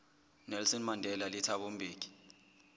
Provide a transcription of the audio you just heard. nelson mandela le thabo mbeki